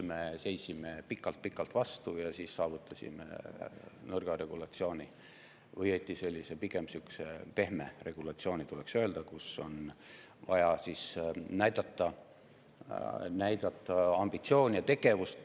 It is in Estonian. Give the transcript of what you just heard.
Me seisime pikalt-pikalt vastu ja saavutasime nõrga regulatsiooni, õigemini tuleks öelda, et pigem sellise pehme regulatsiooni: on vaja näidata ambitsiooni ja tegevust.